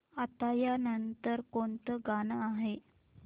आता या नंतर कोणतं गाणं आहे